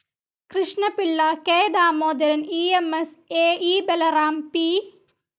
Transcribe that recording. Krishnapillai, K. Damodaran, EMS, അ E Balaram, P.